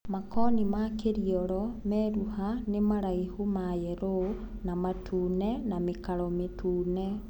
Makoni ma Kiriolo meruha nĩ maraihu mayelo ns matune na mĩkaro mĩtune.